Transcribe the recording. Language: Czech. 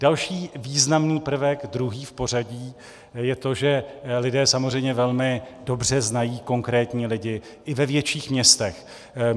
Další významný prvek, druhý v pořadí, je to, že lidé samozřejmě velmi dobře znají konkrétní lidi i ve větších městech.